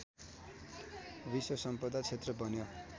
विश्वसम्पदा क्षेत्र बन्यो